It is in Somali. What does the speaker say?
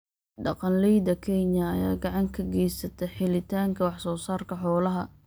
Dhaqanleyda Kenya ayaa gacan ka geysta helitaanka wax soo saarka xoolaha.